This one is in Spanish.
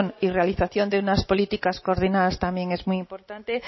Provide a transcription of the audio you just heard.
y realización de unas políticas coordinadas también es muy importante